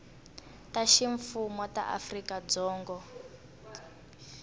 ta ximfumo ta afrika dzonga